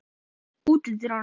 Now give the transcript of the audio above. Frigg, læstu útidyrunum.